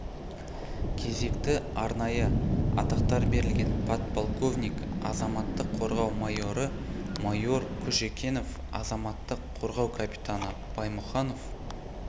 кезекті арнайы атақтар берілген подполковник азаматтық қорғау майоры майор кушекенов азаматтық қорғау капитаны баймұханов